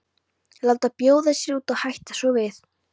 Láta bjóða sér út og hætta svo við.